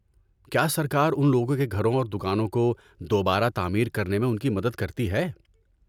کیا سرکار ان لوگوں کے گھروں اور دکانوں کو دوبارہ تعمیر کرنے میں ان کی مدد کرتی ہے؟